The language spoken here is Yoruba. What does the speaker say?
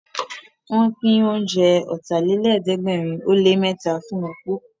Wọ́n pín oúnjẹ Ọ̀tàlélẹ̀ẹ́dẹ́gbẹ̀rin ó lé mẹ́ta fún opó